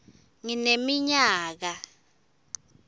ngineminyaka